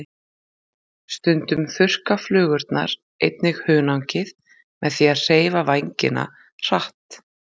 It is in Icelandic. Stundum þurrka flugurnar einnig hunangið með því að hreyfa vængina hratt.